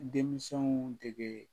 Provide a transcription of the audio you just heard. Denmisɛnw dege